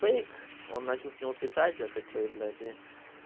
фейк он начал с него писать я такой блять и